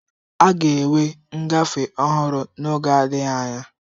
A ga-enwe ngafe ọhụrụ n'oge adịghị anya.